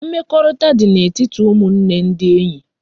Mmekorita di na etiti umunne ndi enye